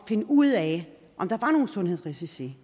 at finde ud af om der var nogle sundhedsrisici